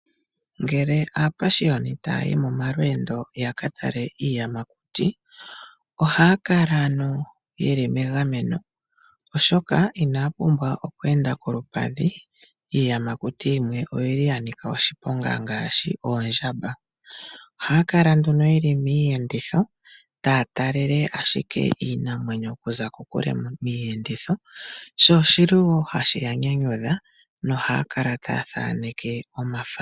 Ngele aapashioni taya yi momalweendo ya katale iiyamakuti , ohaya kala yeli megameno oshoka inaya pumbwa okweenda kolupadhi. Iiyamakuti yimwe oyi li ya nika oshiponga ngaashi oondjamba. Ohaya kala nduno yeli miiyenditho, taya talele nduno ashike iinamwenyo okuza kokule miiyenditho , sho oshili hashi ya nyanyudha nohaya kala taya thaneke omafano.